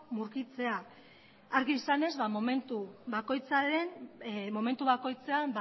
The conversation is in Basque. murgiltzea argi izanez momentu bakoitzean